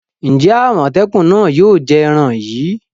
Ǹjẹ́ àmòtẹ́kùn náà yóò jẹ èran yìí?